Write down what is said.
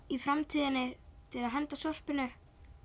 í framtíðinni til að henda öllu sorpinu